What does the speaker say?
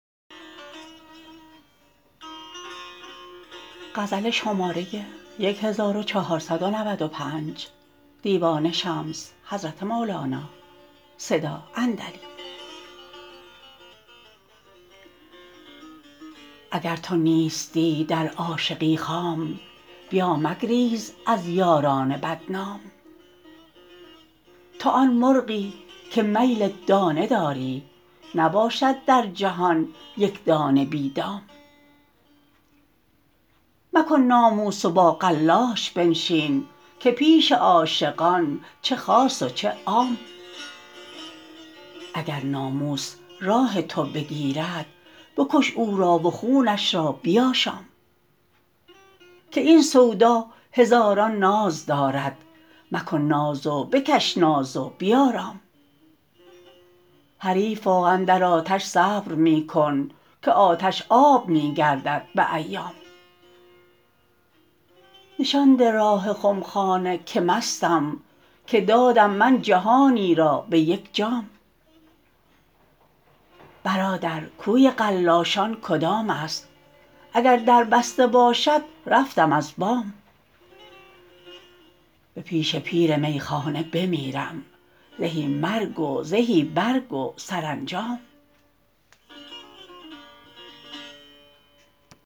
اگر تو نیستی در عاشقی خام بیا مگریز از یاران بدنام تو آن مرغی که میل دانه داری نباشد در جهان یک دانه بی دام مکن ناموس و با قلاش بنشین که پیش عاشقان چه خاص و چه عام اگر ناموس راه تو بگیرد بکش او را و خونش را بیاشام که این سودا هزاران ناز دارد مکن ناز و بکش ناز و بیارام حریفا اندر آتش صبر می کن که آتش آب می گردد به ایام نشان ده راه خمخانه که مستم که دادم من جهانی را به یک جام برادر کوی قلاشان کدام است اگر در بسته باشد رفتم از بام به پیش پیر میخانه بمیرم زهی مرگ و زهی برگ و سرانجام